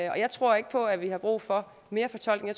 jeg tror ikke på at vi har brug for mere fortolkning